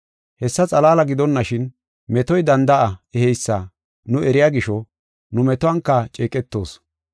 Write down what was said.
Hessa xalaala gidonashin, metoy danda7a eheysa nu eriya gisho, nu metuwanka ceeqetoos.